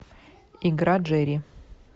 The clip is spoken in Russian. игра джери